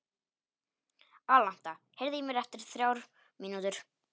Alanta, heyrðu í mér eftir þrjár mínútur.